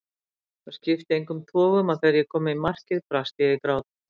Það skipti engum togum að þegar ég kom í markið brast ég í grát.